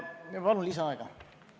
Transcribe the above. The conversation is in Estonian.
Palun lisaaega!